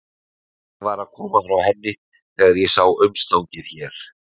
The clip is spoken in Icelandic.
Ég var að koma frá henni þegar ég sá umstangið hér.